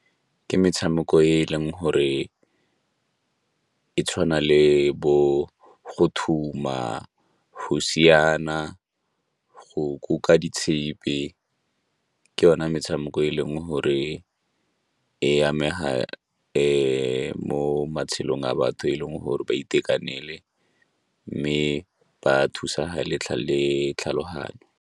Ke metshameko e e leng gore e tshwana le bo go thuma, go siana, go kuka di tshipi, ke yona metshameko e e leng gore e amega mo matshelong a batho e leng gore ba itekanele mme ba thusega le tlhaloganyo.